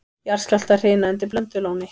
Jarðskjálftahrina undir Blöndulóni